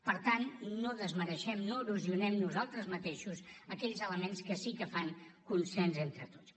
per tant no desmereixem no erosionem nosaltres mateixos aquells elements que sí que fan consens entre tots